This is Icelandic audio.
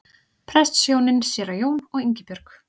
Prestshjónin séra Jón og Ingibjörg